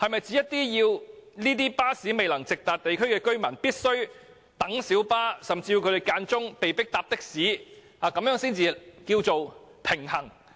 是否要這些巴士未能直達的地區居民繼續等候小巴，甚至有時候被迫改乘的士才算平衡？